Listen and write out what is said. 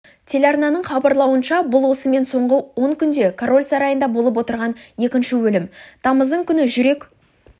телеарнаның хабарлауынша бұл осымен соңғы он күнде король сарайында болып отырған екінші өлім тамыздың күні жүрек